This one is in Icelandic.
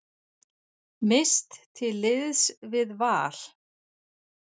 Mist til liðs við Val